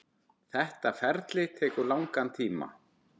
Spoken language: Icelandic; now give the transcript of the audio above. Þetta ferli tekur langan tíma.